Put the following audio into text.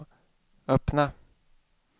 öppna